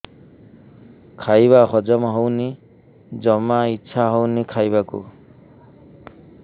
ଖାଇବା ହଜମ ହଉନି ଜମା ଇଛା ହଉନି ଖାଇବାକୁ